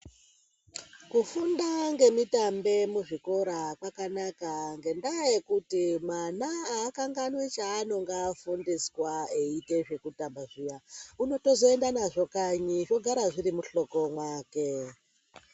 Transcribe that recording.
Kufunda ngemitambe muzvikora kwakanaka ngendaa yekuti mwana aakanganwi chaanonga afundiswa eiita zvekutamba zviyaa. Unotozoenda nazvo kanyi zvogara zviri muhloko mwake.